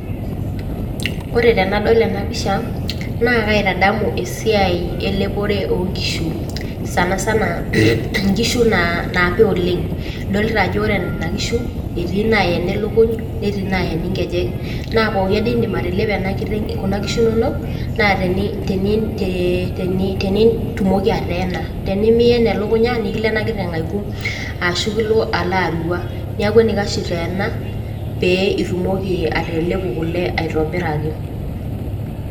koree tenadol ena pisha naa kaitadamu esiai eleporee ooo nkishu sanisana .inkishu naapir oleng idolita ajoo koree nena kishuu ketii naa ene lukuny netiii naaeni inkejek naa pokii adee peidim atalepu kuna kishu inonok naa tenitumokii ateena na tenimiyen elukunyaa nikilo ena kiteng aikum arashoo kiloo aloo aruaaa niaku enikash iteenaa peeyie itumoki atalepu kule aitobirakii.